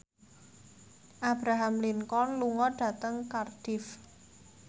Abraham Lincoln lunga dhateng Cardiff